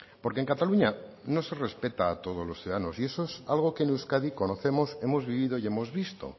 porque en cataluña no se respeta a todos los ciudadanos y eso es algo que en euskadi conocemos hemos vivido y hemos visto